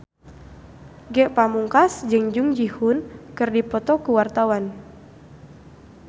Ge Pamungkas jeung Jung Ji Hoon keur dipoto ku wartawan